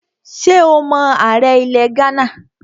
Ṣé o mọ ààrẹ ilẹ̀ Ghánà?